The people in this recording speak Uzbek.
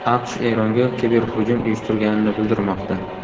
AQSh Eronga kiberhujum uyushtirganini bildirmoqda.